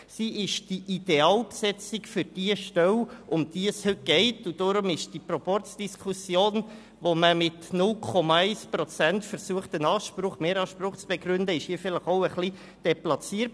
Sie ist die Idealbesetzung für diese Stelle, und darum ist diese Proporzdiskussion, durch die man mit 0,1 Prozent einen Mehranspruch zu begründen versucht, hier etwas deplatziert.